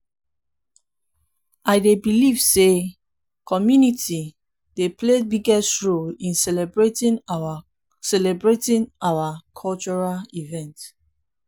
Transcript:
i dey believe say community dey play biggest role in celebrating our celebrating our cultural events.